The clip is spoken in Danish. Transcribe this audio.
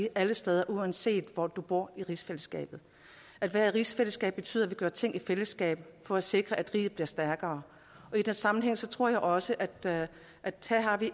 alle steder uanset hvor du bor i rigsfællesskabet at være i rigsfællesskab betyder at vi gør ting i fællesskab for at sikre at riget bliver stærkere og i den sammenhæng tror jeg også at der er